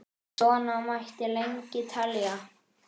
Svona mætti lengi telja.